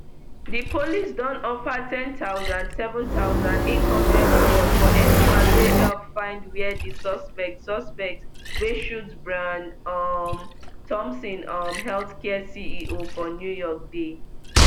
di police don offer ten thousand seven thousand, eight hundred reward for anyone wey help find wia di suspect suspect wey shoot brian um thompson um healthcare ceo for new york dey